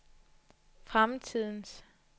fremtidens